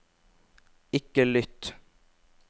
ikke lytt